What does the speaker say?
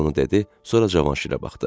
Bunu dedi, sonra Cavanşirə baxdı.